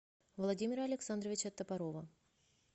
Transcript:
владимира александровича топорова